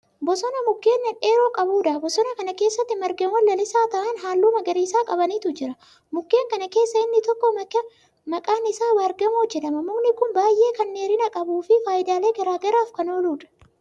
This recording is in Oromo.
Bosona Mukkeen dhedheeroo qabuudha. bosona Kan keessatti margawwan lalisaa ta'an halluu magariisa qabanitu jira. mukkeen kana keessaa inni tokko maqaan Isaa Baargamoo jedhama. mukni Kuni baay'ee Kan dheerina qabuufi faayidaalee garagaraaf Kan ooludha.